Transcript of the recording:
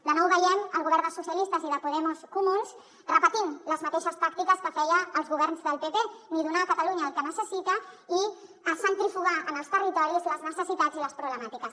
de nou veiem el govern de socialistes i de podemos comuns repetint les mateixes tàctiques que feien els governs del pp ni donar a catalunya el que necessita i centrifugar en els territoris les necessitats i les problemàtiques